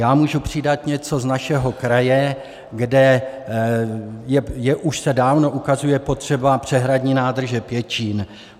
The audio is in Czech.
Já můžu přidat něco z našeho kraje, kde už se dávno ukazuje potřeba přehradní nádrže Pěčín.